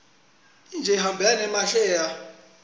ijse ihambelana nemasheya